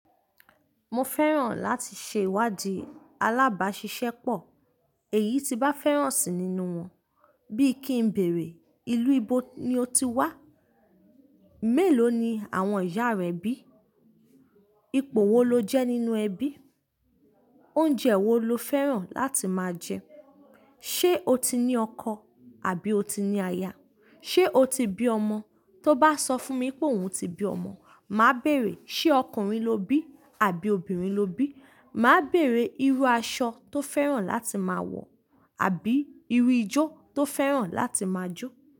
Mo fẹ́ràn láti ṣe ìwádìí alábàṣiṣẹ́ pọ̀. Èyí tí bá féràn sí nínú won, bí kí ń bèèrè ìlú íbó ní ó ti wá. Mèló ni àwọn ìyá rẹ bí? Ipò wo lo jẹ́ nínú ẹbí? Oúnjẹ wo lo fẹ́ràn láti máa jẹ? Ṣé o ti ní ọkọ àbí o ti ní aya? Ṣé o ti bí ọmọ? Tó bá sọ fún mi pé òun ti bí ọmọ, màá béèrè, ṣe ọkùnrin ló bí àbí obìnrin ló bí? Màá béèrè irú aṣọ tó fẹ́ràn láti máa wọ̀ àbí irú ijó tó fẹ́ràn láti máa jó.